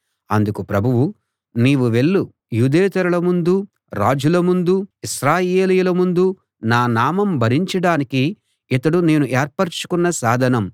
అందుకు ప్రభువు నీవు వెళ్ళు యూదేతరుల ముందూ రాజుల ముందూ ఇశ్రాయేలీయుల ముందూ నా నామం భరించడానికి ఇతడు నేను ఏర్పరచుకున్న సాధనం